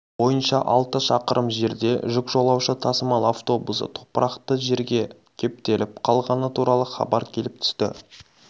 бойынша алты шақырым жерде жүк-жолаушы тасымал автобусы топырақты жерге кептеліп қалғаны туралы хабар келіп түсті